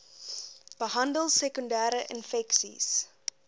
behandel sekondere infeksies